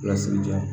Lasigiden